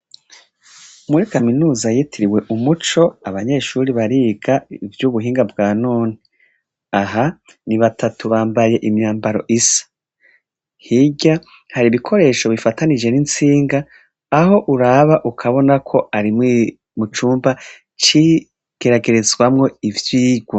Muri kaminuza yitiriwe Umuco, abanyeshure bariga ivyubuhinga bwa none, aha ni batatu bambaye imyambaro isa. Hirya hari ibikoresho bifatanije n'intsinga ah' uraba ukabona ko harimwo icumba c'igeragerezwamwo ivyirwa.